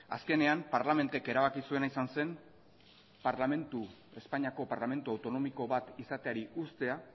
azkenean parlament ek erabaki zuena izan zen espainiako parlamentu autonomiko bat izateari uztea